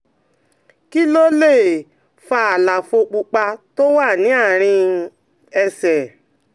Kí ló lè fa àlàfo pupa tó wà ní àárín um ẹsẹ̀?